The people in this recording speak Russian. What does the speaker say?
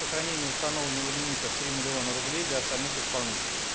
сохранение установленного лимита в три миллиона рублей для остальных исполнителей